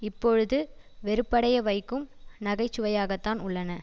இப்பொழுது வெறுப்படைய வைக்கும் நகை சுவையாகத்தான் உள்ளன